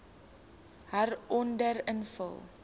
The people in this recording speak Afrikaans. hieronder invul